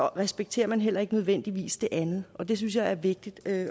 respekterer man heller ikke nødvendigvis det andet og det synes jeg er vigtigt at